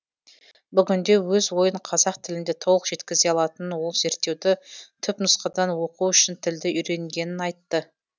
бүгінде өз ойын қазақ тілінде толық жеткізе алатын ол зерттеуді түпнұсқадан оқу үшін тілді үйренгенін айтты